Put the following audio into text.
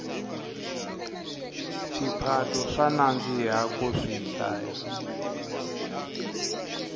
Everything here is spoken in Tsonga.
swiphato swa nandzika ku swihlaya